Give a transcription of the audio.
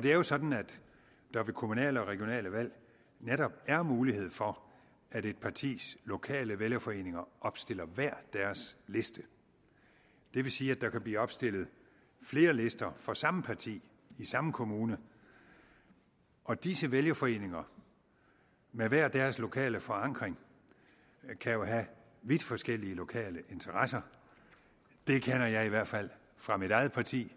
det er jo sådan at der ved kommunale og regionale valg netop er mulighed for at et partis lokale vælgerforeninger opstiller hver deres liste det vil sige at der kan blive opstillet flere lister fra samme parti i samme kommune og disse vælgerforeninger med hver deres lokale forankring kan jo have vidt forskellige lokale interesser det kender jeg i hvert fald fra mit eget parti